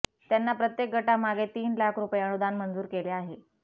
त्यांना प्रत्येक गटामागे तीन लाख रुपये अनुदान मंजूर केले आहे